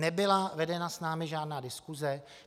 Nebyla vedena s námi žádná diskuse.